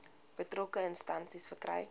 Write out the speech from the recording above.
betrokke instansie verkry